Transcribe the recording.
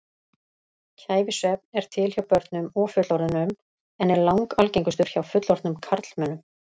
Kæfisvefn er til hjá börnum og fullorðnum en er langalgengastur hjá fullorðnum karlmönnum.